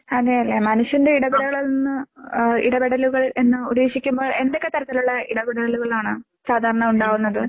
അതെ അതെ മനുഷ്യന്റെ ഇടപെടലുകളിൽ നിന്ന് ആഹ് ഇടപെടലുകൾ എന്ന് ഉദ്ദേശിക്കുമ്പോൾ എന്തൊക്കെ തരത്തിലുള്ള ഇടപെടലുകളാണ്? സാധാരണ ഉണ്ടാകുന്നത്?